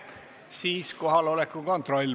Siis teeme palun kohaloleku kontrolli.